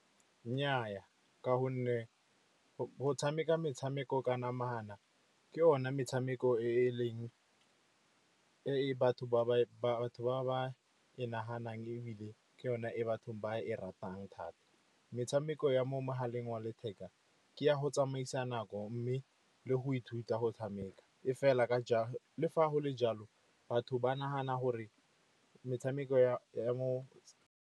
Nnyaa, ka gonne go tshameka metshameko ka namana ke yone metshameko e ba batho ba e naganang, ebile ke yona ko bathong ba e ratang thata. Metshameko ya mo mogaleng wa letheka ke ya go tsamaisa nako mme le go ithuta go tshameka. Le fa go le jalo, batho ba nagana gore metshameko ya mo.